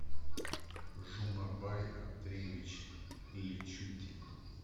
жумабай андреевич личутин